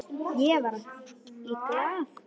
Ég var í Glað.